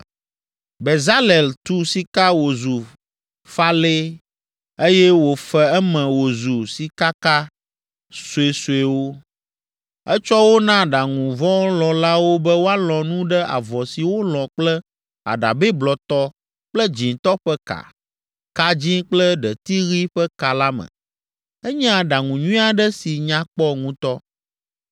Bezalel tu sika wòzu falɛe, eye wòfe eme wòzu sikaka suesuewo. Etsɔ wo na aɖaŋuvɔlɔ̃lawo be woalɔ̃ nu ɖe avɔ si wolɔ̃ kple aɖabɛ blɔtɔ kple dzĩtɔ ƒe ka, ka dzĩ kple ɖeti ɣi ƒe ka la me. Enye aɖaŋu nyui aɖe si nya kpɔ ŋutɔ.